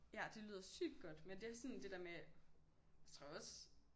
Ja det lyder sygt godt men det også sådan det der med jeg tror også